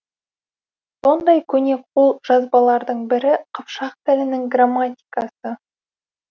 сондай көне қолжазбалардың бірі қыпшақ тілінің грамматикасы